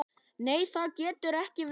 Nei, það getur ekki verið.